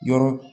Yɔrɔ